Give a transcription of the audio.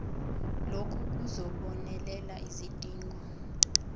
lokhu kuzobonelela izidingo